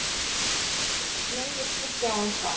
Nei, ég skal sjá um það.